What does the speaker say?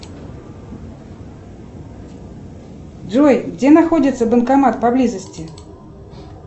джой где находится банкомат поблизости